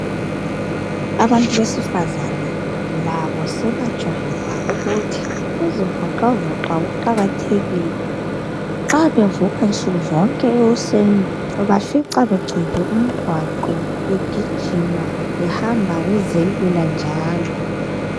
Abantu besifazana labo sebajwayela ukuthi ukuzivoxavoxa kuqakathekile nxa bevoxa nsuku zonke ekuseni ubafica begcwele umgwaqo begijima behamba bezelula njalo.